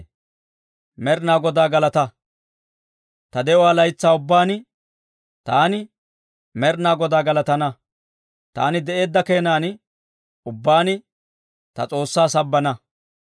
Ta de'uwaa laytsaa ubbaan, taani Med'inaa Godaa galatana; taani de'eedda keenan ubbaan ta S'oossaa sabbana.